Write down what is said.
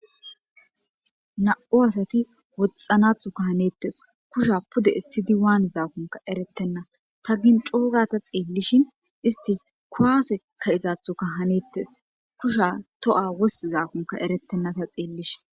Na'u asati woxxanaththokka hanetes. Kusha pude essidi waanizakkonne erettenna. Ta giin coo gaada xeellishin isti kuwase ka'izaththakka hanettes. Kusha toha wostizaakonne eretena ta xeellishin.